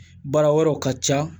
Baara wɛrɛw ka ca